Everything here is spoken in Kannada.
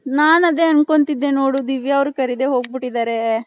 ನನ್ ಅದೇ ಅನ್ಕೊಂಡ್ತಿದ್ದೆ ನೋಡು ದಿವ್ಯ ಅವರು ಕಾರಿದೆ ಹೋಗ್ಬಿಟ್ಟೆದರೆ .